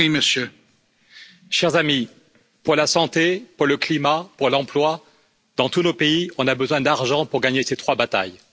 Monsieur le Président, chers amis, pour la santé, pour le climat, pour l'emploi dans tous nos pays, nous avons besoin d'argent pour gagner ces trois batailles.